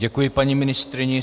Děkuji paní ministryni.